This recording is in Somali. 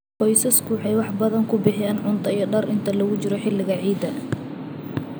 Qoysasku waxay wax badan ku bixiyaan cunto iyo dhar inta lagu jiro xilliga ciidaha.